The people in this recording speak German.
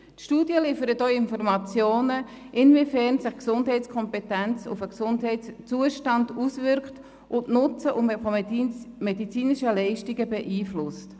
Die Studie liefert auch Informationen dazu, inwiefern sich die Gesundheitskompetenz auf den Gesundheitszustand auswirkt und das Nutzen medizinischer Leistungen beeinflusst.